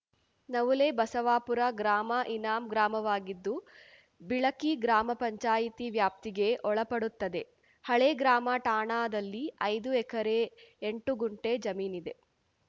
ನವುಲೆ ಬಸವಾಪುರ ಗ್ರಾಮ ಇನಾಂ ಗ್ರಾಮವಾಗಿದ್ದು ಬಿಳಕಿ ಗ್ರಾಮ ಪಂಚಾಯಿತಿ ವ್ಯಾಪ್ತಿಗೆ ಒಳಪಡುತ್ತದೆ ಹಳೆ ಗ್ರಾಮ ಠಾಣಾದಲ್ಲಿ ಐದು ಎಕರೆ ಎಂಟು ಗುಂಟೆ ಜಮೀನಿದೆ